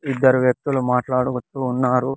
ఇద్దరు వ్యక్తులు మాట్లాడుకుంటూ ఉన్నారు.